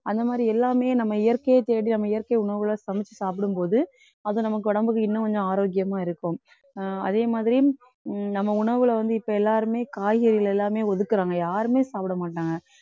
அந்த மாதிரி எல்லாமே நம்ம இயற்கையை தேடி நம்ம இயற்கை உணவுல சமைச்சு சாப்பிடும்போது அது நமக்கு உடம்புக்கு இன்னும் கொஞ்சம் ஆரோக்கியமா இருக்கும் அஹ் அதே மாதிரி உம் நம்ம உணவுல வந்து இப்ப எல்லாருமே காய்கறிகள் எல்லாமே ஒதுக்குறாங்க யாருமே சாப்பிட மாட்டாங்க.